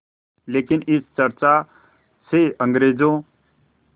लेकिन इस चर्चा से अंग्रेज़ों